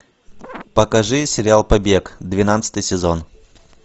покажи сериал побег двенадцатый сезон